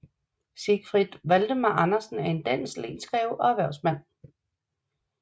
Siegfried Valdemar Andersen er en dansk lensgreve og erhvervsmand